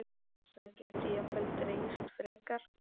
Það gæti jafnvel dregist frekar.